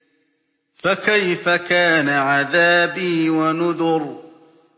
فَكَيْفَ كَانَ عَذَابِي وَنُذُرِ